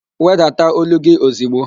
Wedata ólú gị ozigbo!